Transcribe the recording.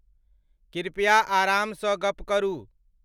कृपया आरामसँ गप्प करू।